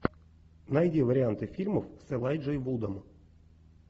найди варианты фильмов с элайджей вудом